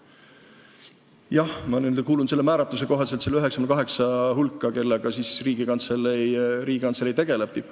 Jah, ma kuulun selle määratluse kohaselt nende 98 tippametniku hulka, kellega Riigikantselei tegeleb.